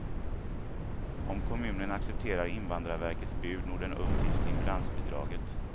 Om kommunen accepterar invandrarverkets bud når den upp till stimulansbidraget.